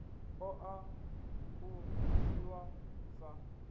ṱo ḓa u dzhiwa sa